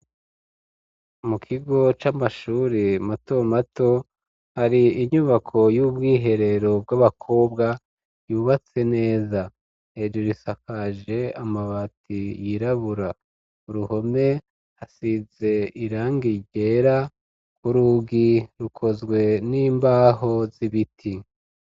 Mukigo c'amashure mato mato hari inyubako y'ubwiherero bw'abakobwa yubatse neza, hejuru hasakaje amabati yirabura, uruhome hasize irangi ryera, kurugi rukozwe n'imbaho z'ibiti.